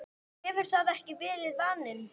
hefur það ekki verið vaninn?